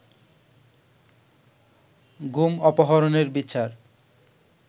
গুম অপহরণের বিচার